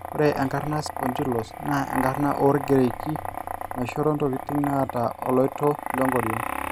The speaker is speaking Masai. ore enkarna e sphondylos naa enkara oogreeki naishoro ntokin naata oloito lenkoriong